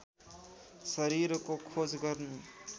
शरीरको खोज गर्नु